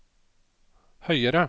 høyere